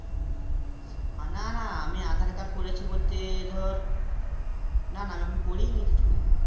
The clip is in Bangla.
না না আমি আঁধার card করেছি বলতে ধর না না আমি এখন করিই নি কিছুই